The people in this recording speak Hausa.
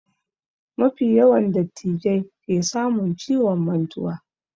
Mafi yawa dattijai ke samun ciwon mantuwa